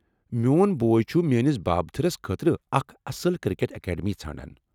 میٚون بوے چُھ میٲنس بابتھٕرس خٲطرٕ اکھ اصل کرکٹ اکیڈمی ژھانڈان ۔